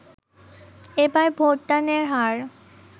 এবার ভোট দানের হার